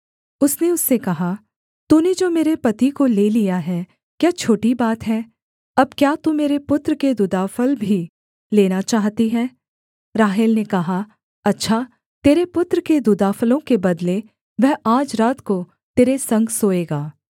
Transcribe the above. उसने उससे कहा तूने जो मेरे पति को ले लिया है क्या छोटी बात है अब क्या तू मेरे पुत्र के दूदाफल भी लेना चाहती है राहेल ने कहा अच्छा तेरे पुत्र के दूदाफलों के बदले वह आज रात को तेरे संग सोएगा